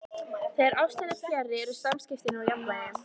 Þegar ástin er fjarri eru samskiptin úr jafnvægi.